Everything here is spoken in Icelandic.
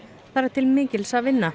þar er til mikils að vinna